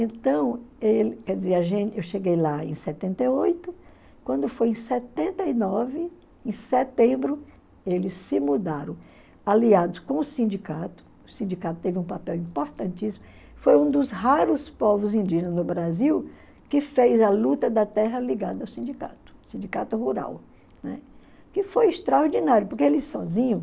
Então, ele, quer dizer, a gente eu cheguei lá em setenta e oito, quando foi em setenta e nove, em setembro, eles se mudaram, aliados com o sindicato, o sindicato teve um papel importantíssimo, foi um dos raros povos indígenas no Brasil que fez a luta da terra ligada ao sindicato, sindicato rural, né, que foi extraordinário, porque eles sozinhos,